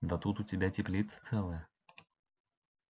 да тут у тебя теплица целая